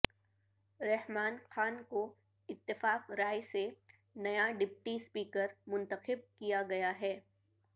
رحمان خان کو اتفاق رائے سے نیا ڈپٹی اسپیکر منتخب کیا گیا ہے